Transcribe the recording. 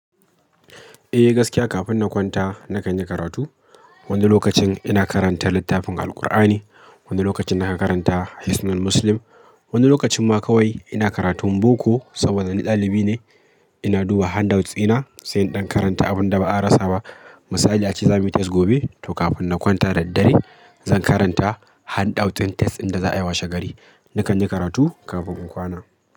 Eh gaskiya, kafin na kwanta na kan yi karatu. Wani lokacin ina karanta littafin Alqur'ani, wani lokacin na kan karanta hisnul Muslim, wani lokacin ma kawai ina karatun boko saboda ni ɗalibi ne. Ina duba handouts dina sai in ɗan karanta abin da ba a rasa ba. Misali ace za muyi test gobe to kafin na kwanta da daddare zan karanta handout ɗin test inda za'a yi washe gari. Na kan yi karatu kafin in kwana.